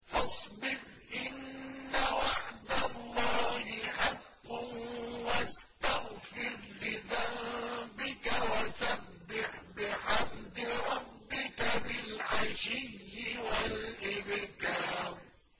فَاصْبِرْ إِنَّ وَعْدَ اللَّهِ حَقٌّ وَاسْتَغْفِرْ لِذَنبِكَ وَسَبِّحْ بِحَمْدِ رَبِّكَ بِالْعَشِيِّ وَالْإِبْكَارِ